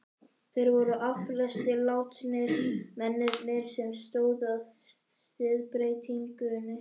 Þeir voru allflestir látnir, mennirnir sem stóðu að siðbreytingunni.